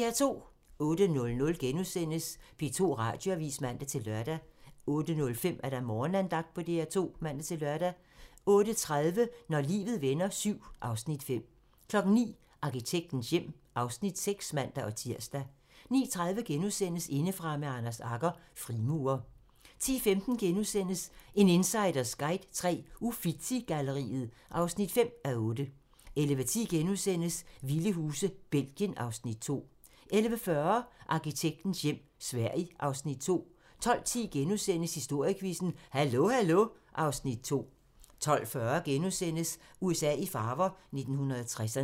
08:00: P2 Radioavis *(man-lør) 08:05: Morgenandagten på DR2 (man-lør) 08:30: Når livet vender VII (Afs. 5) 09:00: Arkitektens hjem (Afs. 6)(man-tir) 09:30: Indefra med Anders Agger - Frimurer * 10:15: En insiders guide til Uffizi-galleriet (5:8)* 11:10: Vilde huse - Belgien (Afs. 2)* 11:40: Arkitektens hjem - Sverige (Afs. 2) 12:10: Historiequizzen: Hallo hallo (Afs. 2)* 12:40: USA i farver - 1960'erne *